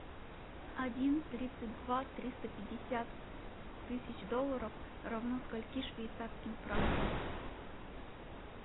один тридцать два триста пятьдесят тысяч долларов равно скольки швейцарским франкам